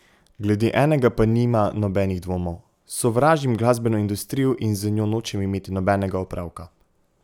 Glede enega pa nima nobenih dvomov: 'Sovražim glasbeno industrijo in z njo nočem imeti nobenega opravka ...